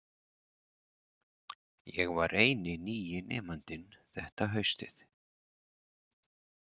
Ég var eini nýi nemandinn þetta haustið.